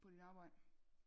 På dit arbejde